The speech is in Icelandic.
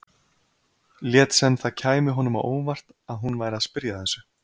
Lét sem það kæmi honum á óvart að hún væri að spyrja að þessu.